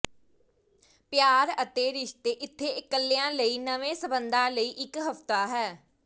ਪਿਆਰ ਅਤੇ ਰਿਸ਼ਤੇ ਇੱਥੇ ਇਕੱਲਿਆਂ ਲਈ ਨਵੇਂ ਸੰਬੰਧਾਂ ਲਈ ਇਕ ਹਫਤਾ ਹੈ